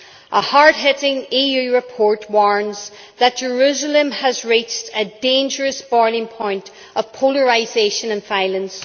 A hard hitting EU report warns that Jerusalem has reached a dangerous boiling point of polarisation and violence.